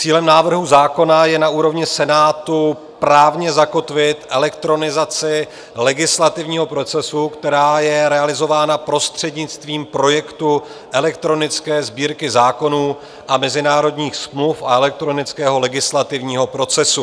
Cílem návrhu zákona je na úrovni Senátu právně zakotvit elektronizaci legislativního procesu, která je realizována prostřednictvím projektu elektronické Sbírky zákonů a mezinárodních smluv a elektronického legislativního procesu.